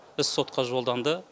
іс сотқа жолданды